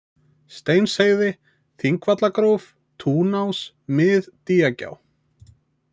Steinsheiði, Þingvallagróf, Túnás, Mið-Dýjagjá